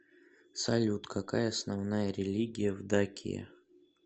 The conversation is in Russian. салют какая основная религия в дакия